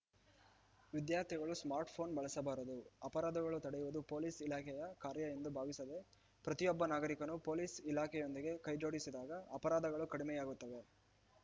ವಿದ್ಯಾರ್ಥಿಗಳು ಸ್ಮಾರ್ಟ್‌ಫೋನ್‌ ಬಳಸಬಾರದು ಅಪರಾಧಗಳು ತಡೆಯುವುದು ಪೊಲೀಸ್‌ ಇಲಾಖೆಯ ಕಾರ್ಯ ಎಂದು ಭಾವಿಸದೇ ಪ್ರತಿಯೊಬ್ಬ ನಾಗರಿಕನೂ ಪೊಲೀಸ್‌ ಇಲಾಖೆಯೊಂದಿಗೆ ಕೈ ಜೋಡಿಸಿದಾಗ ಅಪರಾಧಗಳು ಕಡಿಮೆ ಯಾಗುತ್ತದೆ